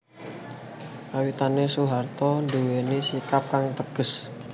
Kawitane Soeharto nduwèni sikap kang teges